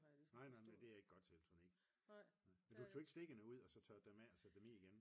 Nej nej det er ikke godt til elektronik men du tog ikke stikkene ud og tørrede dem af og så satte dem i igen?